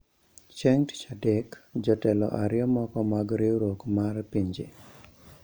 Chieng ' Tich Adek, jotelo ariyo moko mag Riwruok mar Pinje